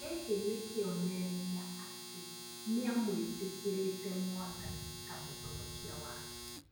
Gĩkĩ nĩ kĩonereria atĩ nĩamwĩtĩkĩrĩte mwathani ta mũhonokia wake